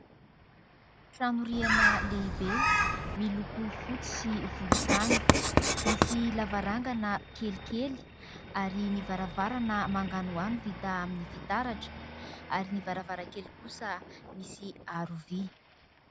Trano rihana lehibe, miloko fotsy sy volontany. Misy lavarangana kelikely ary ny varavarana manganohano vita amin'ny fitaratra ary ny varavarankely kosa misy aro vy.